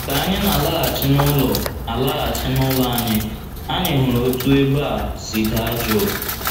Ka anyị na - alaghachi n’ụlọ - alaghachi n’ụlọ anyị, anyị hụrụ otú ebe a si daa juu.